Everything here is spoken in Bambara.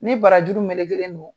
Ni barajuru melekelen don